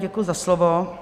Děkuji za slovo.